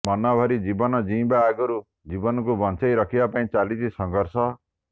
ମନଭରି ଜୀବନ ଜିଇଁବା ଆଗରୁ ଜୀବନକୁ ବଚେଁଇରଖିବା ପାଇଁ ଚାଲିଛି ସଂର୍ଘଷ